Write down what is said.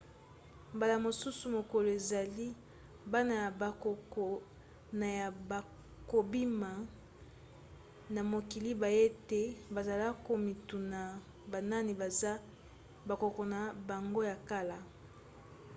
mbala mosusu mokolo ezali bana ya bakoko na yo bakobima na mokili bayebi te bazali komituna banani baza bakoko na bango ya kala?